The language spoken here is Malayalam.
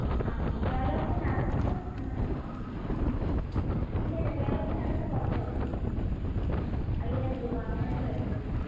കേരളത്തിനെ അകത്തു കുറച്ചേ ഉള്ളു. അയ്യായ്യിരം രൂപ അങ്ങനെ ഒക്കെയേ ഉള്ളു.